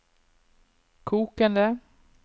kokende